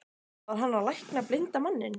Var hann að lækna blinda manninn?